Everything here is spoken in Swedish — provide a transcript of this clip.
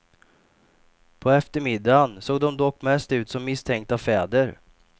På eftermiddagen såg de dock mest ut som misstänkta fäder.